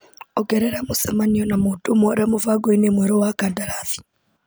Ongerera mũcemanio na mũndũ mwara mũbango-inĩ mwerũ wa kandarathi.